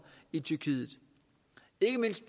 i tyrkiet ikke mindst